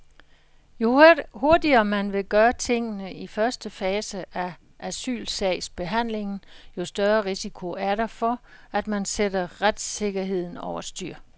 Jo hurtigere man vil gøre tingene i første fase af asylsagsbehandlingen, jo større risiko er der for, at man sætter retssikkerheden over styr.